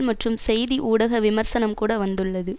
மற்றும் செய்தி ஊடக விமர்சனம் கூட வந்துள்ளது